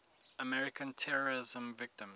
american terrorism victims